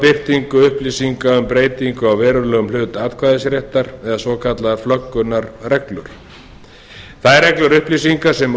birtingu upplýsinga um breytingu á verulegum hlut atkvæðisréttar eða svokallaðar flöggunarreglur þær reglur upplýsinga sem